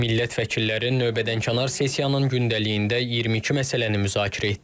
Millət vəkilləri növbədənkənar sessiyanın gündəliyində 22 məsələni müzakirə etdilər.